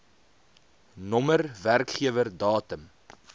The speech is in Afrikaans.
nr werkgewer datum